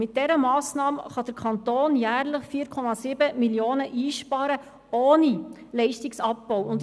Mit dieser Massnahme kann der Kanton jährlich 4,7 Mio. Franken ohne Leistungsabbau einsparen.